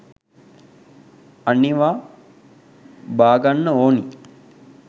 අනිවා බාගන්න ඕනි